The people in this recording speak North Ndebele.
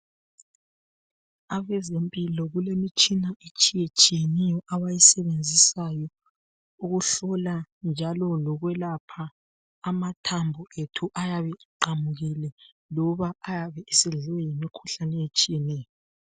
Abezempilo kulemitshana etshiyetshiyeneyo abayayisebenzisayo ukuhlola njalo lokwelapha amathambo ethu ayabe eqamukile .Loba ayabe esedliwe yimikhulane etshiyeneyo.